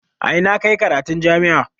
A ina ka yi karatun jami'a?